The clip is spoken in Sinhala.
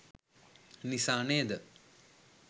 නිසා නේද?